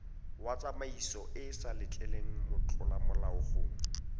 wa tsamaisoeesa letleleleng motlolamolao go